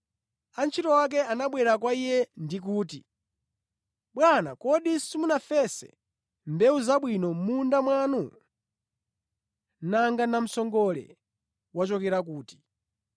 “Antchito ake anabwera kwa iye ndi kuti, ‘Bwana, kodi simunafese mbewu zabwino mʼmunda mwanu? Nanga namsongole wachokera kuti?’